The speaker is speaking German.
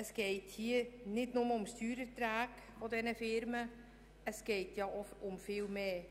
Es geht nicht nur um die Steuererträge dieser Firmen, sondern um viel mehr.